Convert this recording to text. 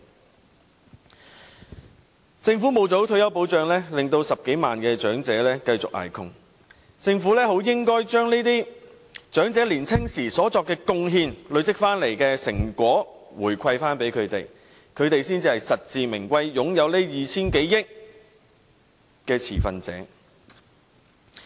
由於政府沒有做好退休保障 ，10 多萬長者繼續捱窮，政府實應將這些靠長者年青時所作貢獻，累積下來的成果回饋給長者，他們才是這 2,000 多億元實至名歸的持份者。